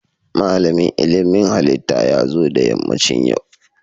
Malamin ilmin halitta ya zo da yammacin yau